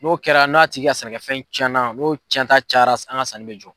N'o kɛra n'a tigi ka sɛnɛkɛfɛn cɛnna n'o cɛnta cayara an ka sanni bɛ jɔ.